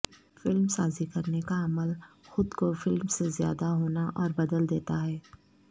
film سازی کرنے کا عمل خود کو فلم سے زیادہ بونا اور بدل دیتا ہے